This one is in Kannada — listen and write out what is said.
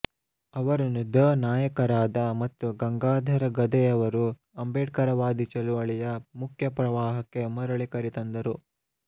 ಅವರನ್ನು ದ ನಾಯಕರಾದ ಮತ್ತು ಗಂಗಾಧರ ಗಧೆಯವರು ಅಂಬೇಡ್ಕರವಾದಿ ಚಳುವಳಿಯ ಮುಖ್ಯಪ್ರವಾಹಕ್ಕೆ ಮರುಳಿ ಕರೆತಂದರು